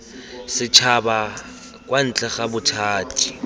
setšhaba kwa ntle ga bothati